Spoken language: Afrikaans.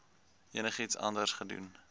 enigiets anders gedoen